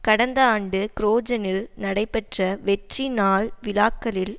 கடந்த ஆண்டு க்ரோஜனில் நடைபெற்ற வெற்றி நாள் விழாக்களில்